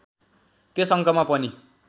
त्यस अङ्कमा पनि